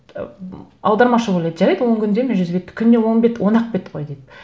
ы м аудармашы ойлады жарайды он күнде мен жүз бетті күніне он бет он ақ бет қой деп